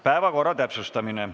Päevakorra täpsustamine.